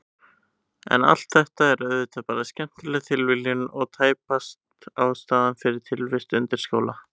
En allt þetta er auðvitað bara skemmtileg tilviljun og tæpast ástæðan fyrir tilvist undirskála.